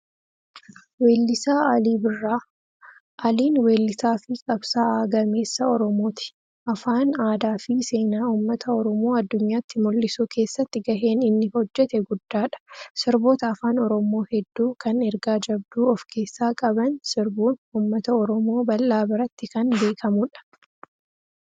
Weellisaa Alii Birraa. Aliin weellisaa fi qabsaa'aa gameessa Oromooti. Afaan, aadaa fi seenaa uummata Oromoo addunyaatti mul'isuu keessatti gaheen inni hojjete guddaadha. Sirboota afaan Oromoo hedduu kan ergaa jabduu ofkeessaa qaban sirbuun uummata Oromoo bal'aa biratti kan beekamudha.